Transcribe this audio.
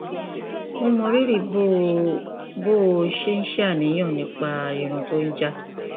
mo mọ rírì bó o bó o ṣe ń ṣàníyàn nípa irun tó ń já